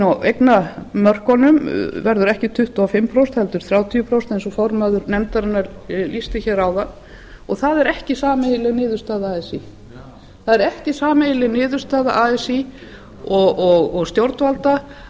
á eignamörkunum verður ekki tuttugu og fimm prósent heldur þrjátíu prósent eins og formaður nefndarinnar lýsti hér áðan og það er ekki sameiginleg niðurstaða así það er ekki sameiginleg niðurstaða así og stjórnvalda